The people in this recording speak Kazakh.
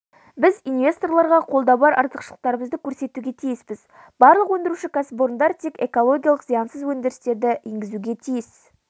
біз инвесторларға қолда бар артықшылықтарымызды көрсетуге тиіспіз барлық өндіруші кәсіпорындар тек экологиялық зиянсыз өндірісті енгізуге тиіс